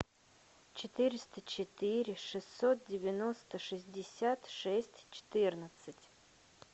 четыреста четыре шестьсот девяносто шестьдесят шесть четырнадцать